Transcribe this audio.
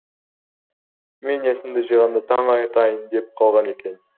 мен есімді жиғанда таң атайын деп қалған екен